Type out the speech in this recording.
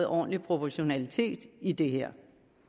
ordentlig proportionalitet i det her